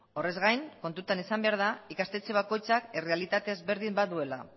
horrez gain kontutan izan behar da ikastetxe bakoitzean errealitate desberdin bat duela